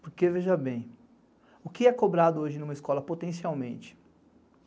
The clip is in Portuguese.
Porque, veja bem, o que é cobrado hoje numa escola potencialmente?